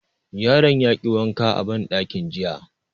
Yaron ya ki wanka a banɗakin jiya